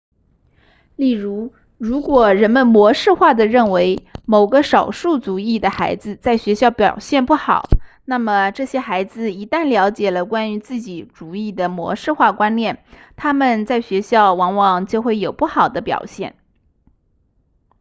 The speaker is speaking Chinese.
例如如果人们模式化地认为某个少数族裔的孩子在学校表现不好那么这些孩子一旦了解了关于自己族裔的模式化观念他们在学校往往就有不好的表现